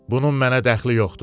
Bunun mənə dəxli yoxdur.